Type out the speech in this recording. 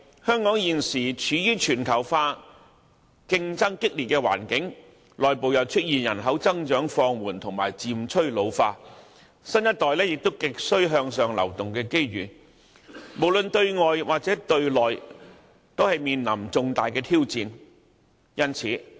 香港現時處於全球化競爭激烈的環境，內部又出現人口增長放緩及漸趨老化，新一代亦需要有向上流動的機遇，無論對外對內都面臨重大挑戰。